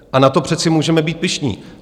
A na to přece můžeme být pyšní.